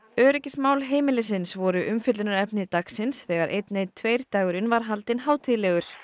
öryggismál heimilisins voru umfjöllunarefni dagsins þegar einn einn tveir dagurinn var haldinn hátíðlegur